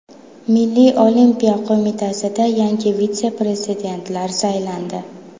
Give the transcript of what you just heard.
Milliy olimpiya qo‘mitasiga yangi vitse-prezidentlar saylandi.